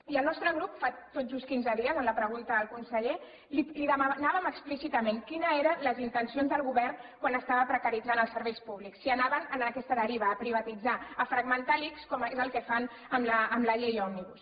i el nostre grup fa tot just quinze dies en la pregunta al conseller li demanàvem explícitament quines eren les intencions del govern quan estava precaritzant els serveis públics si anaven en aquesta deriva a privatitzar a fragmentar l’ics com és el que fan amb la llei òmnibus